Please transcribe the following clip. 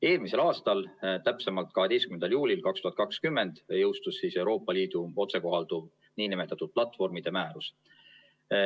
Eelmisel aastal, täpsemalt 12. juulil 2020 jõustus Euroopa Liidu otsekohalduv nn platvormide määrus.